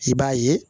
I b'a ye